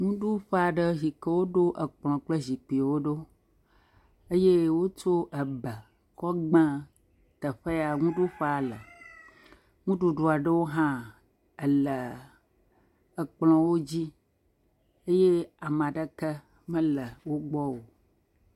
Nuɖuƒe aɖe yi ke woɖo ekplɔ kple zikpuiwo ɖo eye wotsɔ ebe kɔ gbe teƒe ya nuɖuƒea le. Nuɖuɖu aɖewo hã ele ekplɔwo dzi eye ame aɖeke mele wo gbɔ o.